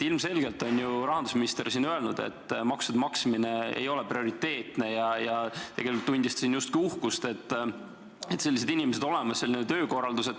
" Ilmselgelt on rahandusminister siin öelnud, et maksude maksmine ei ole prioriteetne, ja tegelikult tundis ta justkui uhkust, et sellised inimesed on olemas, selline töökorraldus.